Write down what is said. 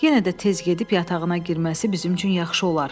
Yenə də tez gedib yatağına girməsi bizim üçün yaxşı olar.